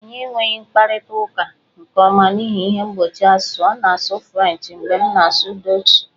Anyị enweghị mkparịta ụka nke ọma n'ihi ihe mgbochi asụsụ, ọ na-asụ Frenchị mgbe m na-asụ Dọọchị